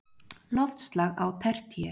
Loftslag á tertíer